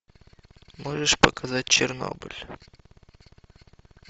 можешь показать чернобыль